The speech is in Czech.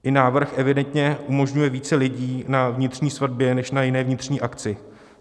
I návrh evidentně umožňuje více lidí na vnitřní svatbě než na jiné vnitřní akci.